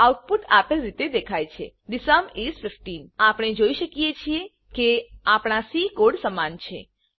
output આપેલ રીતે દેખાય છે થે સુમ ઇસ 15 આપણે જોઈ શકીએ છે કે આપણા સી કોડ સમાન છે